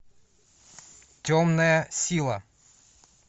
темная сила